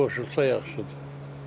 Qoşulsa yaxşıdır.